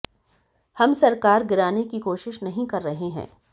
हम सरकार गिराने की कोशिश नहीं कर रहे हैं